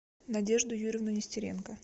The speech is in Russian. надежду юрьевну нестеренко